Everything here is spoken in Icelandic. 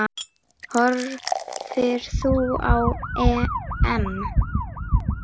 Horfir þú á EM?